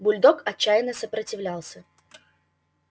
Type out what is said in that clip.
бульдог отчаянно сопротивлялся